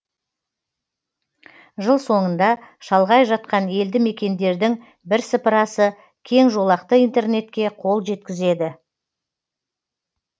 жыл соңында шалғай жатқан елді мекендердің бірсыпырасы кеңжолақты интернетке қол жеткізеді